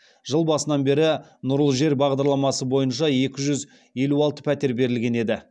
жыл басынан бері нұрлы жер бағдарламасы бойынша екі жүз елу алты пәтер берілген еді